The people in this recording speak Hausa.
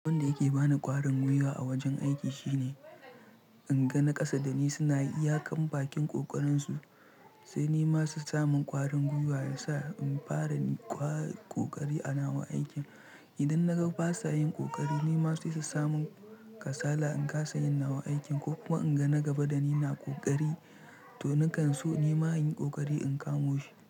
Abun da yake bani ƙwarin guiwa a wajen aiki shine in ga naƙasa da ni suna iyakan bakin ƙoƙarin su sai ni ma su sami ƙwarin guiwa ya sa in fara yin ƙoƙari a nawa aikin. Idan na ga basa yin ƙoƙari ni ma sai sussamun kasala in kasa yin nawa aikin ko kuma in ga na gaba da ni na ƙoƙari to nakan so ni ma yin ƙoƙari in kamo shi.